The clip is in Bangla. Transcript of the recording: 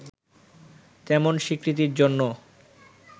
তেমন স্বীকৃতির জন্য